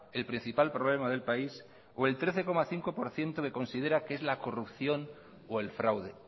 el principal problema del país o el trece coma cinco por ciento que considera que es la corrupción o el fraude